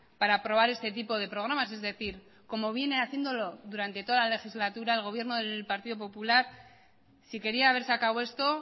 para aprobar este tipo de programas es decir como viene haciéndolo durante toda la legislatura el gobierno del partido popular si quería haber sacado esto